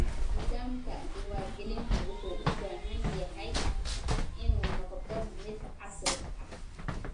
Nidaamka diiwaangelintu wuxuu u baahan yahay inuu noqdo mid casri ah.